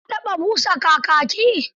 Ka taɓa busa kakaki?